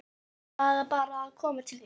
En ég varð bara að koma til þín.